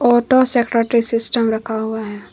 Auto system रखा हुआ है।